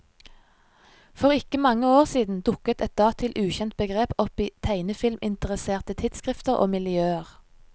For ikke mange år siden dukket et datil ukjent begrep opp i tegnefilminteresserte tidsskrifter og miljøer.